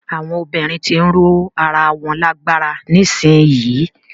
Àwọn obìnrin ti ń ró ara wọn lágbára nísìyí.